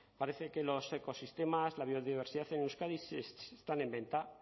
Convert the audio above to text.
parece que los ecosistemas y la biodiversidad en euskadi están en venta